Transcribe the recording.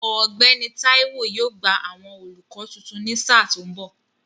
Ọ̀gbẹ́ni Táíwó yóò gba àwọn olùkọ́ tuntun ní sà tó ń bọ̀